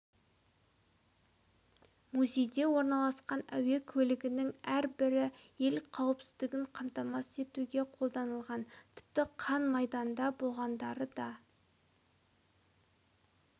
музейде орналасқан әуе көлігінің әр бірі ел қауіпсіздігін қамтамасыз етуге қолданылған тіпті қан майданда болғандары да